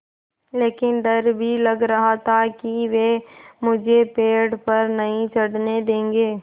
लेकिन डर भी लग रहा था कि वे मुझे पेड़ पर नहीं चढ़ने देंगे